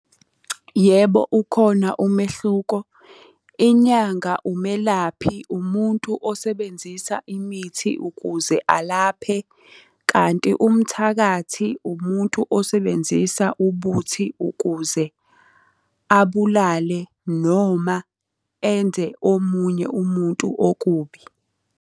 Yebo, ukhona umehluko. Inyanga umelaphi umuntu osebenzisa imithi ukuze alaphe, kanti umthakathi umuntu osebenzisa ubuthi ukuze abulale noma enze omunye umuntu okubi.